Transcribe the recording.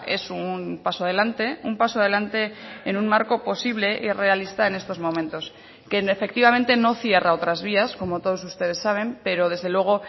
es un paso adelante un paso adelante en un marco posible y realista en estos momentos que efectivamente no cierra otras vías como todos ustedes saben pero desde luego